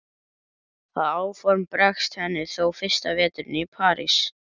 Það áform bregst henni þó fyrsta veturinn í París.